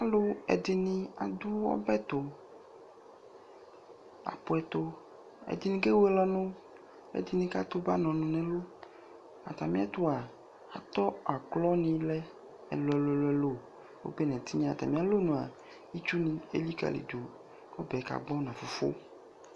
Alʋɛdɩnɩ adʋ ɔbɛ tʋ nʋ apʋ ɛtʋ Ɛdɩnɩ kewele ɔnʋ, ɛdɩnɩ katʋ ba nʋ ɔnʋ nʋ ɛlʋ Atamɩɛtʋ a, atɔ aklonɩ lɛ ɛlʋ-ɛlʋ, obe nʋ ɛtɩnya Atamɩalɔnu a, itsunɩ elikǝlidu kʋ ɔbɛ kagbɔ nʋ afʋfʋ